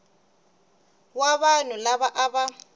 wa vanhu lava a va